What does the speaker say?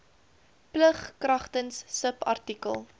plig kragtens subartikel